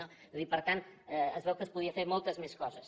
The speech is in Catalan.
vull dir per tant es veu que es podien fer moltes més coses